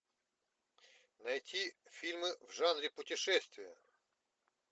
найти фильмы в жанре путешествия